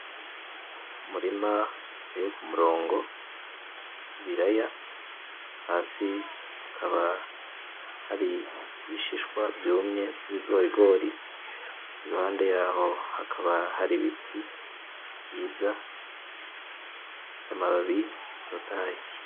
Umurima uteye k’umurongo w’ibiraya hasi hakaba hari ibishishwa vyumye vy’ibigorigori iruhande yaho hakaba hari ibiti vyiza bifise amababi atotahaye.